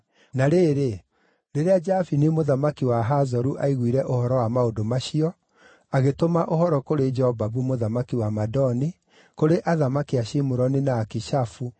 Na rĩrĩ, rĩrĩa Jabini mũthamaki wa Hazoru aiguire ũhoro wa maũndũ macio, agĩtũma ũhoro kũrĩ Jobabu mũthamaki wa Madoni, kũrĩ athamaki a Shimuroni na Akishafu,